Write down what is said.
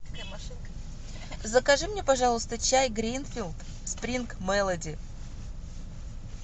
закажи мне пожалуйста чай гринфилд спринг мелоди